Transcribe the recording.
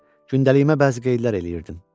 Gündəliyimə bəzi qeydlər eləyirdim.